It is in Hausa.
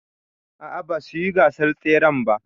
A a basu yi gasar tseren ba.